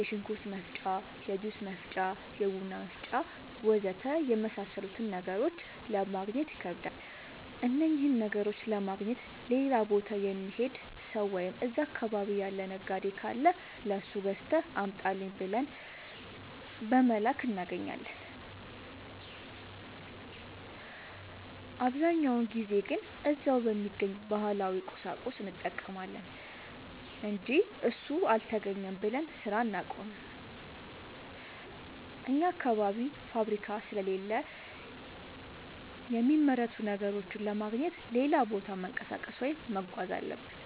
የሽንኩርት መፍጫ፣ የጁስ መፍጫ፣ የቡና መፍጫ.... ወዘተ የመሣሠሉትን ነገሮች ለማገግኘት ይከብዳሉ። እነኝህን ነገሮች ለማግኘት ሌላ ቦታ የሚሄድ ሠው ወይም እዛ አካባቢ ያለ ነጋዴ ካለ ለሱ ገዝተህ አምጣልኝ ብለን በመላክ እናገኛለን። አብዛኛውን ጊዜ ግን እዛው በሚገኝ ባህላዊ ቁሳቁስ እንጠቀማለን አንጂ እሱ አልተገኘም ብለን ስራ አናቆምም። አኛ አካባቢ ፋብሪካ ስለሌለ የሚመረቱ ነገሮችን ለማግኘት ሌላ ቦታ መንቀሳቀስ ወይም መጓዝ አለብን።